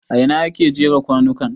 A ina aka jera kwanukan?